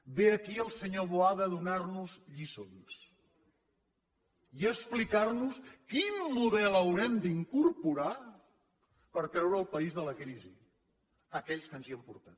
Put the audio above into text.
ve aquí el senyor boada a donar nos lliçons i a explicar nos quin model haurem d’incorporar per treure el país de la crisi aquells que ens hi han portat